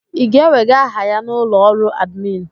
I ga-ewega aha ya n'ụlọ ọrụ admin?